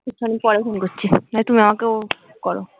কিছুক্ষন পরে ফোন করছি নাহয় তুমি আমাকে করো